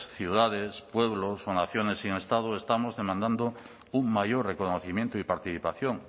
ciudades pueblos o naciones sin estado estamos demandando un mayor reconocimiento y participación